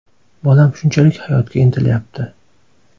Bolam shunchalik hayotga intilayapti.